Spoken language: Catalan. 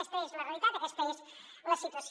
aquesta és la realitat aquesta és la situació